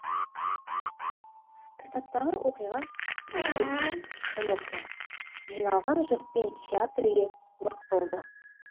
кітаптағы оқиға тарихи шын оқиға жиналған жұртпен театр үйі лық толды